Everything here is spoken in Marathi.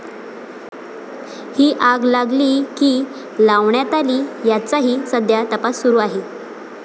ही आग लागली की लावण्यात आली याचाही सध्या तपास सुरु आहे.